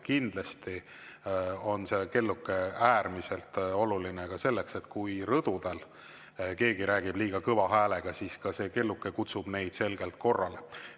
Kindlasti on see kelluke äärmiselt oluline ka selleks, et kui rõdul keegi räägib liiga kõva häälega, siis see kelluke kutsub ka neid selgelt korrale.